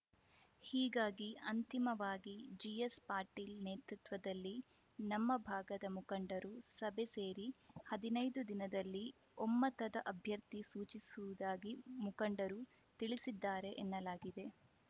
ಹೀಗಾಗಿ ಅಂತಿಮವಾಗಿ ಜಿಎಸ್‌ ಪಾಟೀಲ್‌ ನೇತೃತ್ವದಲ್ಲಿ ನಮ್ಮ ಭಾಗದ ಮುಖಂಡರು ಸಭೆ ಸೇರಿ ಹದಿನೈದು ದಿನದಲ್ಲಿ ಒಮ್ಮತದ ಅಭ್ಯರ್ಥಿ ಸೂಚಿಸುವುದಾಗಿ ಮುಖಂಡರು ತಿಳಿಸಿದ್ದಾರೆ ಎನ್ನಲಾಗಿದೆ